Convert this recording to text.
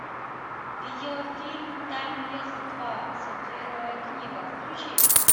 видеофильм таймлесс два сапфировая книга включи